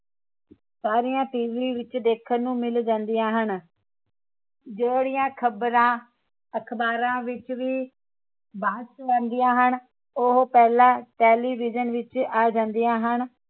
ਸਾਰੀਆਂ ਟੀਵੀ ਵਿਚ ਦੇਖਣ ਨੂੰ ਮਿਲ ਜਾਂਦੀਆਂ ਹਨ ਜਿਹੜੀਆਂ ਖਬਰਾਂ ਅਖਬਾਰਾਂ ਵਿਚ ਵੀ ਬਾਅਦ ਚ ਆਉਂਦੀਆਂ ਹਨ ਉਹ ਪਹਿਲਾ television ਵਿਚ ਆ ਜਾਂਦੀਆਂ ਹਨ